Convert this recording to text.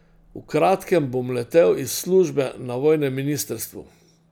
V kratkem bom letel iz službe na vojnem ministrstvu.